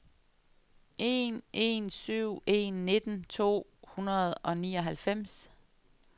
en en syv en nitten to hundrede og nioghalvfems